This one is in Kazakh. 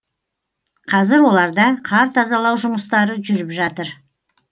қазір оларда қар тазалау жұмыстары жүріп жатыр